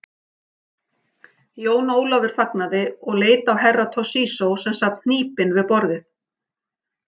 Jón Ólafur þagnaði og leit á Herra Toshizo sem sat hnípinn við borðið.